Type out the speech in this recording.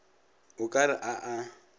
o ka re a a